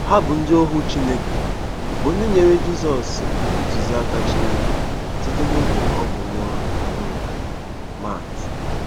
Ha bụ ndị ohu Chineke bụ́ ndị nyere Jizọs ntụziaka Chineke site n’oge ọ bụ nwa ọhụrụ. — Mat.